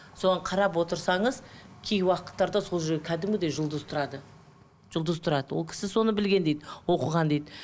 соған қарап отырсаңыз кей уақыттарда сол кәдімгідей жұлдыз тұрады жұлдыз тұрады ол кісі соны білген дейді оқыған дейді